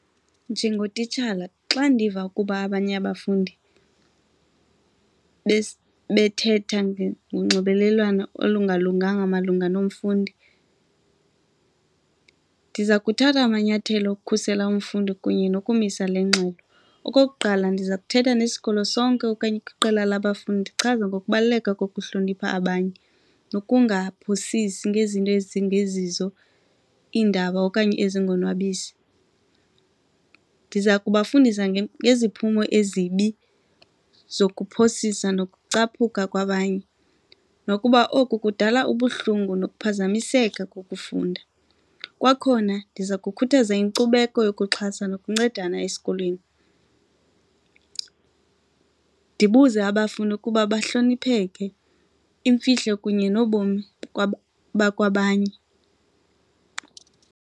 Njengotitshala xa ndiva ukuba abanye abafundi bethetha ngonxibelelwano olungalunganga malunga nomfundi ndiza kuthatha amanyathelo ukukhusela umfundi kunye nokumisa le ngxelo. Okokuqala, ndiza kuthetha nesikolo sonke okanye kwiqela labafundi ndichaze ngokubaluleka kokuhlonipha abanye nokungaphosisi ngezinto ezingezizo iindaba okanye ezingonwabisi. Ndiza kubafundisa ngeziphumo ezibi zokuphosisa nokucaphuka kwabanye nokuba oku kudala ubuhlungu nokuphazamiseka kokufunda. Kwakhona ndiza kukhuthaza inkcubeko yokuxhasa nokuncedana esikolweni, ndibuze abafundi ukuba bahlonipheke imfihlo kunye nobomi bakwamanye.